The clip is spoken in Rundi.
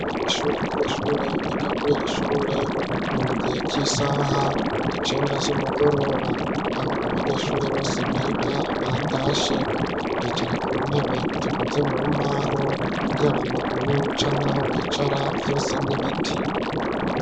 Ishuri abanyeshure biga kuriri shure, ni mu gihe c'isaha icenda z'umugoroba, aho abanyeshuri bose biga batashe bicara ku ntebe zikoze mu mbaho ,y'abamaguru canka ho bicara vyose n'ibiti.